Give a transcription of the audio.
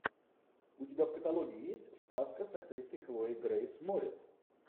у тебя в каталоге есть сказка с актрисой хлоей грейс морец